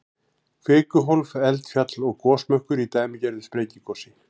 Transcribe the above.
Kvikuhólf, eldfjall og gosmökkur í dæmigerðu sprengigosi.